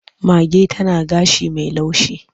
Mage tana gashi mai laushi.